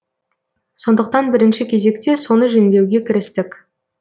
сондықтан бірінші кезекте соны жөндеуге кірістік